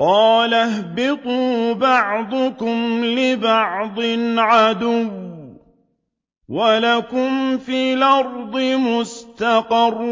قَالَ اهْبِطُوا بَعْضُكُمْ لِبَعْضٍ عَدُوٌّ ۖ وَلَكُمْ فِي الْأَرْضِ مُسْتَقَرٌّ